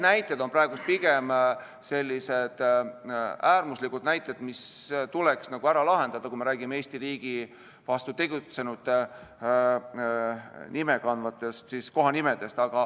Need on praegu pigem sellised äärmuslikud näited, mis tuleks ära lahendada, kui me räägime Eesti riigi vastu tegutsenute nime kandvatest kohtadest.